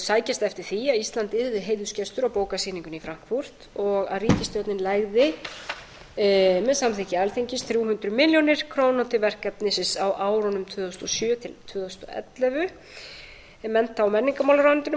sækjast eftir því að ísland yrði heiðursgestur á bókasýningunni í frankfurt og ríkisstjórnin legði með samþykki alþingis þrjú hundruð milljóna króna til verkefnisins á árunum tvö þúsund og sjö til tvö þúsund og ellefu mennta og menningarmálaráðuneytinu